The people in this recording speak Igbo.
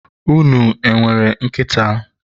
unu e nwere nkịta?